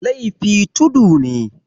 laifi tudu ne